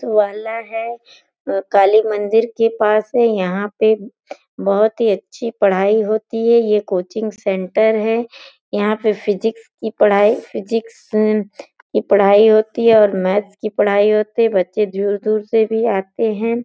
वाला है। अ काली मंदिर के पास है। यहाँ पे बहोत ही अच्छी पढाई होती है। ये कोचिंग सेंटर है। यहाँ पे फिज़िक्स की पढाई फिज़िक्स उम्म की पढाई होती है और मैथ्स की पढाई होती है। बच्चे झूर दूर से भी आते हैं।